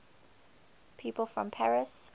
people from paris